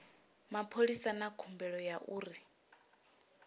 mapholisa na khumbelo ya uri